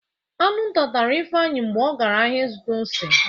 Aṅụ nta tara Ifeanyi mgbe ọgara ahịa ịzụta ose.